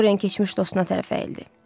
Doren keçmiş dostuna tərəf əyildi.